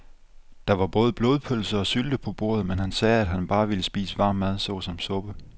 Der var både blodpølse og sylte på bordet, men han sagde, at han bare ville spise varm mad såsom suppe.